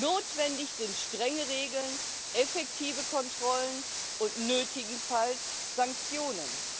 Notwendig sind strenge Regeln, effektive Kontrollen und nötigenfalls Sanktionen.